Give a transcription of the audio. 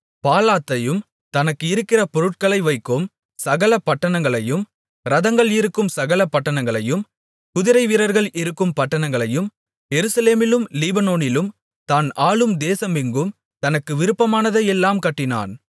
பாலாத்தையும் தனக்கு இருக்கிற பொருட்களை வைக்கும் சகல பட்டணங்களையும் இரதங்கள் இருக்கும் சகல பட்டணங்களையும் குதிரை வீரர்கள் இருக்கும் பட்டணங்களையும் எருசலேமிலும் லீபனோனிலும் தான் ஆளும் தேசமெங்கும் தனக்கு விருப்பமானதையெல்லாம் கட்டினான்